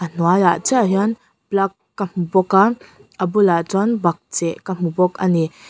a hnuaiah chiah hian plug ka hmu bawk a a bulah chuan bakcheh ka hmu bawk a ni.